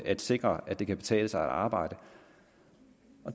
at sikre at det kan betale sig at arbejde